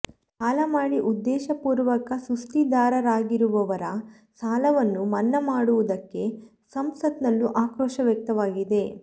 ಸಾಲ ಮಾಡಿ ಉದ್ದೇಶಪೂರ್ವಕ ಸುಸ್ತಿದಾರರಾಗಿರುವವರ ಸಾಲವನ್ನು ಮನ್ನಾ ಮಾಡಿರುವುದಕ್ಕೆ ಸಂಸತ್ ನಲ್ಲೂ ಆಕ್ರೋಶ ವ್ಯಕ್ತವಾಗಿದೆ